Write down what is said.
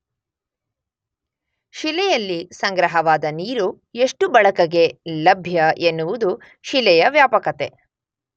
ಶಿಲೆಯಲ್ಲಿ ಸಂಗ್ರಹವಾದ ನೀರು ಎಷ್ಟು ಬಳಕೆಗೆ ಲಭ್ಯ ಎನ್ನುವುದು ಶಿಲೆಯ ವ್ಯಾಪಕತೆ.